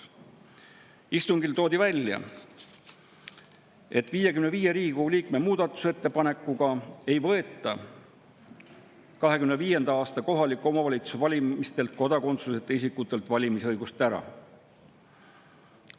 Istungil toodi välja, et 55 Riigikogu liikme muudatusettepanekuga ei võeta 2025. aasta kohaliku omavalitsuse valimistel kodakondsuseta isikutelt valimisõigust ära.